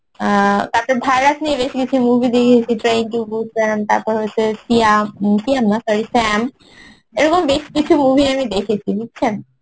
অ্যাঁ তারপর virus নিয়ে বেশি কিছু movie দেখেছি try to book তারপর হয়েছে সিয়াম সিয়াম না sorry শ্যাম এরকম বেশ কিছু movie আমি দেখেছি বুঝছেন